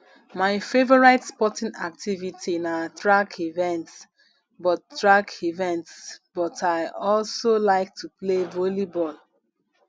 my favorite sporting activity na track events but track events but i also like to play volleyball